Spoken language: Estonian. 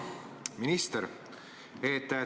Hea minister!